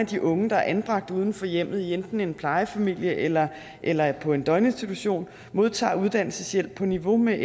de unge der er anbragt uden for hjemmet i enten en plejefamilie eller eller på en døgninstitution modtager uddannelseshjælp på niveau med